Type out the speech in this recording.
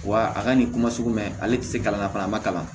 Wa a ka nin kuma sugu bɛ ale tɛ se kalan na fana a ma kalan